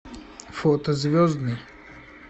фото звездный